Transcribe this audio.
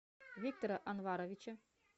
виктора анваровича